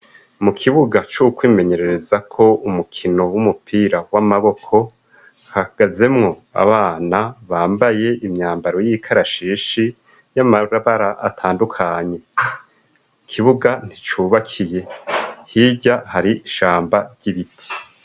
Mu kibuga cokwimenyerereza ko umukino w'umupira w'amaboko hagazemwo abana bambaye imyambaro y'ikarashishi y'amabara atandukanye ikibuga nticubakiye hirya hari ishamba ry'ibiti.